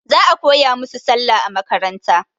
Za a koya musu Sallah a makaranta.